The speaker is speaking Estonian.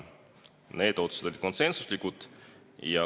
Need otsused olid konsensuslikud.